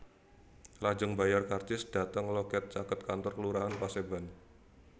Lajeng mbayar karcis dhateng loket caket kantor Kelurahan Paseban